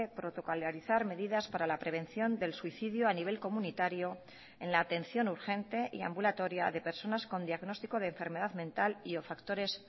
protocolarizar medidas para la prevención del suicidio a nivel comunitario en la atención urgente y ambulatoria de personas con diagnóstico de enfermedad mental y o factores